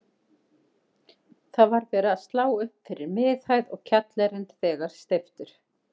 Það var verið að slá upp fyrir miðhæð og kjallarinn þegar steyptur.